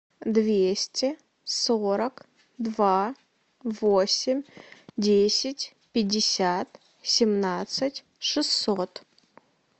двести сорок два восемь десять пятьдесят семнадцать шестьсот